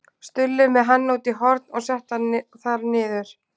Stulli með hann út í horn og setti hann þar niður.